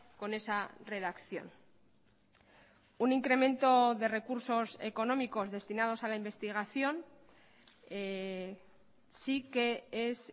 con esa redacción un incremento de recursos económicos destinados a la investigación sí que es